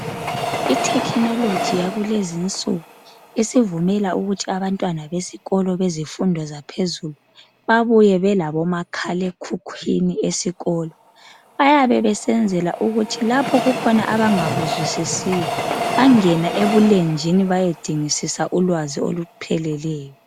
Ithekhinoloji yakulezinsuku isivumela ukuthi abantwana besikolo bemfundo yaphezulu babuye belabomakhalekhukhwini esikolo. Bayabe besenzela ukuthi lapho kukhona abangakuzwisisiyo bangene ebulenjini bayedingisisa ulwazi olupheleyo.